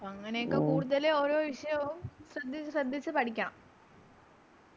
അങ്ങനെയൊക്കെ ഓരോ വിഷയാവും ശ്രെദ്ധിച്ച് ശ്രെദ്ധിച്ച് പഠിക്കണം